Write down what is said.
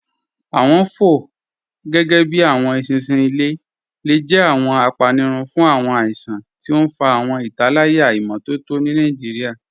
Awọn fọ, gẹgẹbi awọn èṣinṣin ilẹ̀, le jẹ̀ awọn àpánírùn fun awọn àìsàn, tí o n fà awọn ìtálàyà imọtọ̀tọ̀ ni Nigeria.